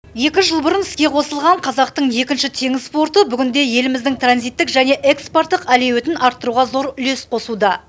екі жыл бұрын іске қосылған қазақтың екінші теңіз порты бүгінде еліміздің транзиттік және экспорттық әлеуетін арттыруға зор үлес қосуда